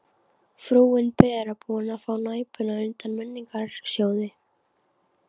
Frúin Bera búin að fá Næpuna undan Menningarsjóði.